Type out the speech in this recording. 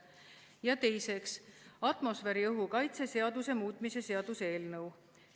Ja teiseks, atmosfääriõhu kaitse seaduse muutmise seaduse eelnõu.